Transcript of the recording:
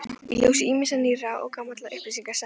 Í ljósi ýmissa nýrra og gamalla upplýsinga setti